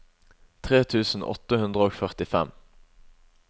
tre tusen åtte hundre og førtifem